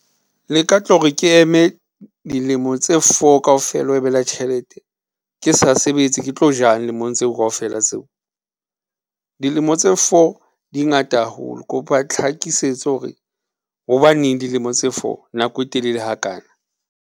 Le ka tlore ke eme dilemo tse four kaofela, ho e mela tjhelete, ke sa sebetse, ke tlo jang lemong tseo kaofela tseo? dilemo tse four di ngata haholo, kopa tlhakisetso hore hobaneng dilemo tse four nako e telele hakana.